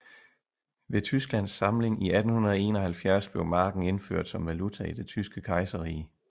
Ved Tysklands samling i 1871 blev marken indført som valuta i Det Tyske Kejserrige